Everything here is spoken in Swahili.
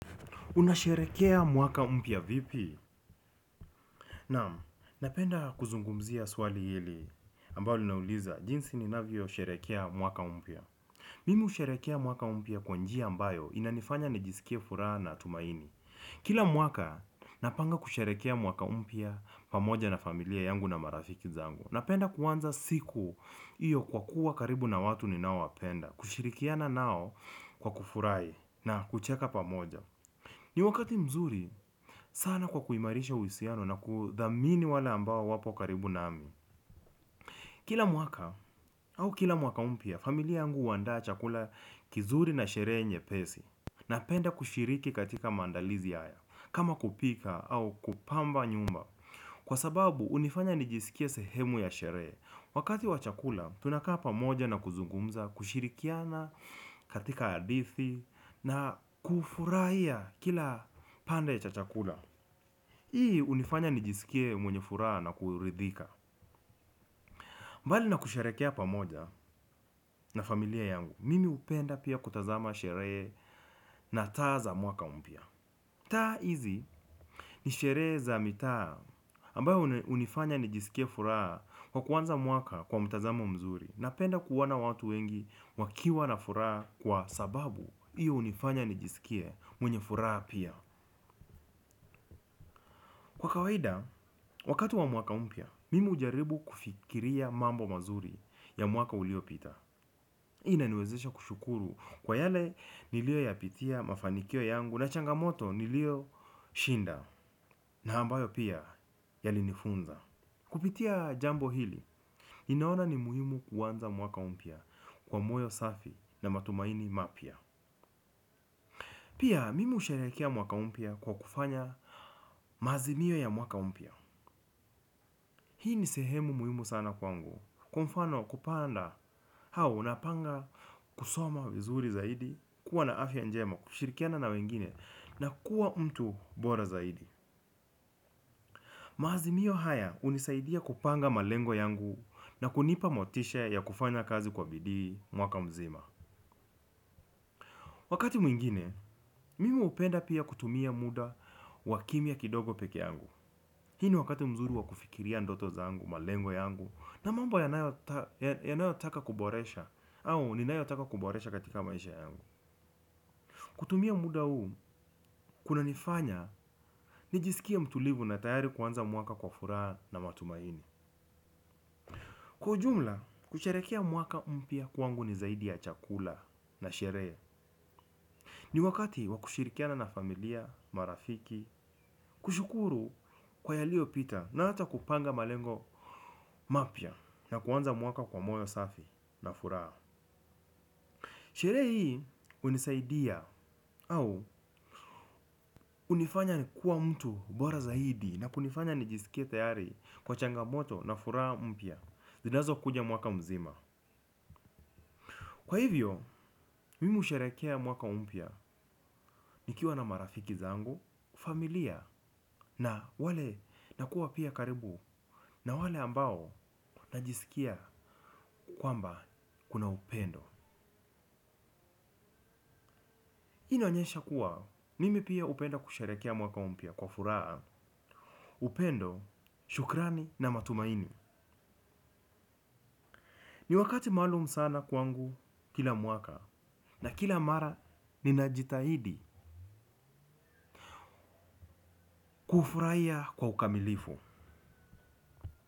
Unasherehekea mwaka mpya vipi? Naam, napenda kuzungumzia swali hili ambalo linauliza jinsi ninavyosherehekea mwaka mpya. Mimi husherehekea mwaka mpya kwa njia ambayo inanifanya nijisikie furaha na tumaini. Kila mwaka napanga kusherehekea mwaka mpya pamoja na familia yangu na marafiki zangu. Napenda kuanza siku hiyo kwa kuwa karibu na watu ninaowapenda, kushirikiana nao kwa kufurahi na kucheka pamoja. Ni wakati mzuri sana kwa kuimarisha uhusiano na kuthamini wale ambao wako karibu nami. Kila mwaka au kila mwaka mpya, familia yangu huandaa chakula kizuri na sherehe nje. Napenda kushiriki katika maandalizi haya, kama kupika au kupamba nyumba, kwa sababu yananifanya nijisikie sehemu ya sherehe. Wakati wa chakula, tunakaa pamoja na kuzungumza, kushirikiana katika hadithi na kufurahia kila kipande cha chakula. Hii hunifanya nijisikie mwenye furaha na kuridhika. Mbali na kusherehekea pamoja na familia yangu, mimi hupenda pia kutazama sherehe na taa za mwaka mpya. Taa hizi ni sherehe za mitaa ambayo hunifanya nijisikie furaha kwa kuanza mwaka kwa mtazamo mzuri. Napenda kuona watu wengi wakiwa na furaha kwa sababu hiyo hunifanya nijisikie mwenye furaha pia. Kwa kawaida, wakati wa mwaka mpya, mimi hujaribu kufikiria mambo mazuri ya mwaka uliopita. Inaniwezesha kushukuru kwa yale niliyoyapitia, mafanikio yangu, na changamoto nilizoshinda, ambazo pia zilinifunza. Kupitia jambo hili, ninaona ni muhimu kuanza mwaka mpya kwa moyo safi na matumaini mapya. Pia, mimi husherehekea mwaka mpya kwa kufanya maazimio ya mwaka mpya. Hii ni sehemu muhimu sana kwangu, kwa mfano kupanga, kwamba unapanga kusoma vizuri zaidi, kuwa na afya njema, kushirikiana na wengine, na kuwa mtu bora zaidi. Maazimio haya yananisaidia kupanga malengo yangu na kunipa motisha ya kufanya kazi kwa bidii mwaka mzima. Wakati mwingine, mimi hupenda pia kutumia muda wa kimya kidogo peke yangu. Huu ni wakati mzuri wa kufikiria ndoto zangu, malengo yangu na mambo ninayotaka kuboresha, au ninayotaka kuboresha katika maisha yangu. Kutumia muda huu kunanifanya nijisikie mtulivu na tayari kuanza mwaka kwa furaha na matumaini. Kwa ujumla, kusherehekea mwaka mpya kwangu ni zaidi ya chakula na sherehe. Ni wakati wa kushirikiana na familia, marafiki, kushukuru kwa yaliyopita, na hata kupanga malengo mapya, na kuanza mwaka kwa moyo safi na furaha. Sherehe hii unisaidia au hunifanya kuwa mtu bora zaidi, na kunifanya nijisikie tayari kwa changamoto na furaha mpya zinazokuja mwaka mzima. Kwa hivyo, mimi husherehekea mwaka mpya, nikiwa na marafiki zangu, familia na kuwa pia karibu na wale ambao najisikia kwamba kuna upendo. Hii inaonyesha kwamba mimi pia napenda kusherehekea mwaka mpya kwa furaha. Upendo, shukrani na matumaini. Ni wakati maalum sana kwangu kila mwaka, na kila mara ninajitahidi. Kufurahia kwa ukamilifu.